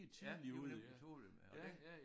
Ja de var nemlig tidlige ja